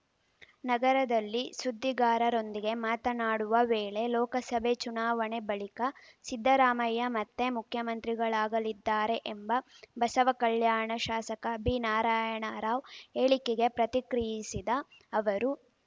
ನಗರದಲ್ಲಿ ಸುದ್ದಿಗಾರರೊಂದಿಗೆ ಮಾತನಾಡುವ ವೇಳೆ ಲೋಕಸಭೆ ಚುನಾವಣೆ ಬಳಿಕ ಸಿದ್ದರಾಮಯ್ಯ ಮತ್ತೆ ಮುಖ್ಯಮಂತ್ರಿಗಳಾಗಲಿದ್ದಾರೆ ಎಂಬ ಬಸವಕಲ್ಯಾಣ ಶಾಸಕ ಬಿ ನಾರಾಯಣರಾವ್‌ ಹೇಳಿಕೆಗೆ ಪ್ರತಿಕ್ರಿಯಿಸಿದ ಅವರು